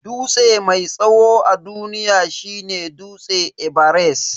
Dutse mai tsawo a duniya shine dutse everest.